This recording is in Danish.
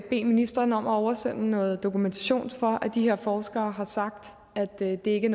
ministeren om at oversende noget dokumentation for at de her forskere har sagt at det ikke